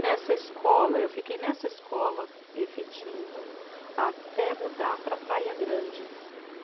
Nessa escola, eu fiquei nessa escola efetiva até mudar para Praia Grande.